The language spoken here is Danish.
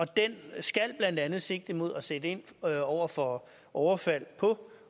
den skal blandt andet sigte mod at sætte ind over for overfald på